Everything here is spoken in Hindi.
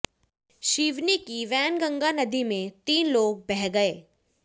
सिवनी की वैनगंगा नदी में तीन लोग बह गए